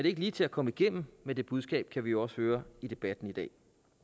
ikke lige til at komme igennem med det budskab kan vi også høre i debatten i dag